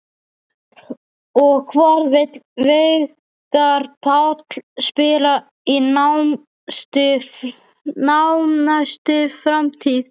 Og hvar vill Veigar Páll spila í nánustu framtíð?